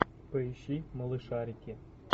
поищи малышарики